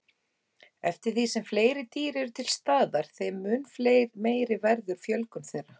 Eftir því sem fleiri dýr eru til staðar þeim mun meiri verður fjölgun þeirra.